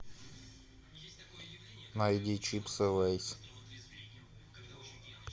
найди чипсы лейс